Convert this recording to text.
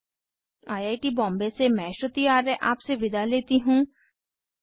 httpspoken tutorialorgNMEICT Intro I I T Bombay से मैं श्रुति आर्य आपसे विदा लेती हूँ